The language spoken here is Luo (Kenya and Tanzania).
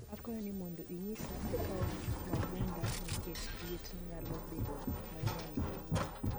akwayo ni modo inyisa akao mabunda nikech liet nyalo bedo mang'eny kawuono